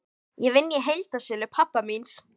Ég vinn í heildsölu pabba míns.